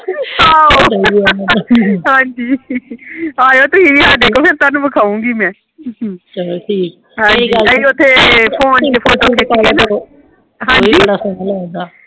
ਹਾਂਜੀ ਆਇਓ ਤੁਹੀ ਵੀ ਸਾਡੇ ਕੋਲ ਫੇਰ ਤਾਹਨੂੰ ਦਿਖਾਉਂਗੀ ਮੈ